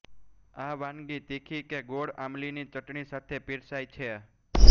આ વાનગી તીખી કે ગોળ આમલીની ચટણી સાથે પીરસાય છે